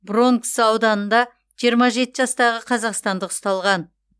бронкс ауданында жиырма жеті жастағы қазақстандық ұсталған